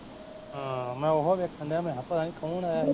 ਹਾਂ ਮੈਂ ਉਹੋ ਵੇਖਣ ਡਿਆ ਮੈਂ ਕਿਹਾ ਪਤਾ ਨੀ ਕੌਣ ਆਇਆ ਸੀ